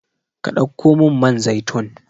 Ka ɗauko min man zaitun